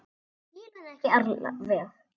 Skil hann ekki alveg.